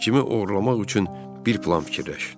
Cimi oğurlamaq üçün bir plan fikirləş.